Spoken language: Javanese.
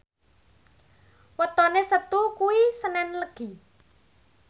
wetone Setu kuwi senen Legi